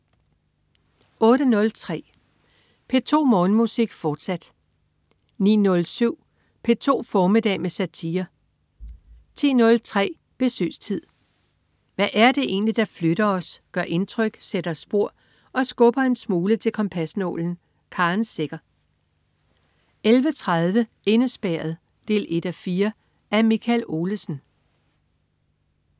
08.03 P2 Morgenmusik, fortsat 09.07 P2 formiddag med satire 10.03 Besøgstid. Hvad er det egentlig, der flytter os, gør indtryk, sætter spor og skubber en smule til kompasnålen? Karen Secher 11.30 Indespærret 1:4. Af Michael Olesen